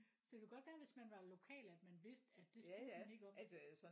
Så det kan godt være at hvis man var lokal at man vidste at det spurgte man ikke om